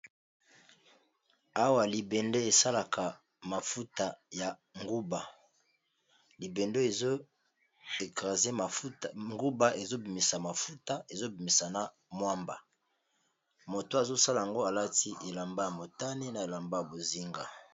Awa libende esalaka mafuta ya nguba libende ezoekrase nguba ezobimisa mafuta ezobimisa na mwamba moto azosala yango alati elamba ya motani na elamba ya bozinga.